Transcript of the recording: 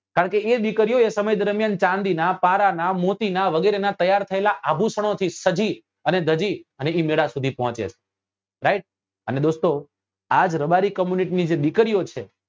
કારણ કે એ દીકરીઓ એ સમય દરમિયાન ચાંદી નાં પારા નાં મોતી નાં વગેરે નાં તૈયાર થયેલા આભૂષણો થી સજી અને ધજી અને એ મેલા સુધી પહોચે છે right અને દોસ્તો આજ રબારી community ની જે દીકરીઓ છે